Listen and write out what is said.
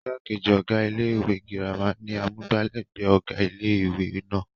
igbákejì ọ̀gá ilé ìwé girama ni amúgbálẹ́gbẹ̀ẹ́ ọ̀gá ilé ìwé náà